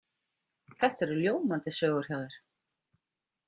Þetta eru ljómandi sögur hjá þér.